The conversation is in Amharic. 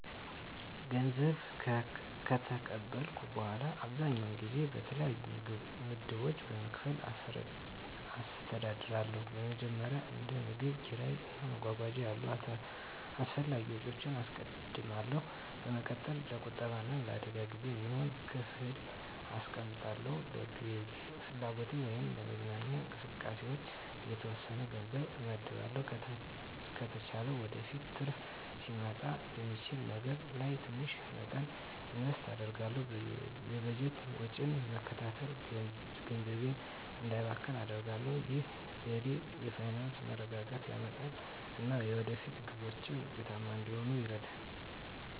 ገንዘብ ከተቀበልኩ በኋላ, አብዛኛውን ጊዜ በተለያዩ ምድቦች በመከፋፈል አስተዳድራለሁ. በመጀመሪያ፣ እንደ ምግብ፣ ኪራይ እና መጓጓዣ ያሉ አስፈላጊ ወጪዎችን አስቀድማለሁ። በመቀጠል፣ ለቁጠባ እና ለአደጋ ጊዜ የሚሆን ክፍል አስቀምጣለሁ። ለግል ፍላጎቶች ወይም ለመዝናኛ እንቅስቃሴዎች የተወሰነ ገንዘብ እመድባለሁ። ከተቻለ ወደፊት ትርፍ ሊያመጣ በሚችል ነገር ላይ ትንሽ መጠን ኢንቨስት አደርጋለሁ። የበጀት ወጪን መከተል ገንዘቤ እንዳይባክን አደርጋሁ። ይህ ዘዴ የፋይናንስ መረጋጋትን ያረጋግጣል እና የወደፊት ግቦችን ውጤታማ እንድሆን ይረዳኛል.